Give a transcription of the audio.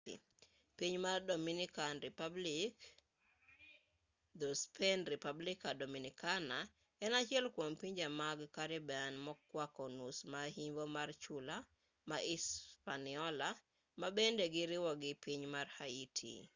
piny mar dominican republic dho-spain: república dominicana en achiel kwom pinje mag karibian mokwako nus ma yimbo mar chula ma hispaniola ma bende giriwo gi piny mar haiti